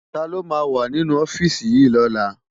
Táló má wá ninú òfisi yi lòlá?